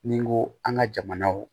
Ni n ko an ka jamanaw